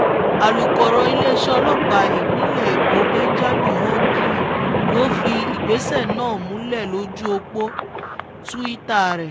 alūkọ̀rọ̀ iléeṣẹ́ ọlọ́pàá ìpínlẹ̀ èkó benjamin hondyin ló fìdí ìgbésẹ̀ náà múlẹ̀ lójú ọ̀pọ̀ twitter rẹ̀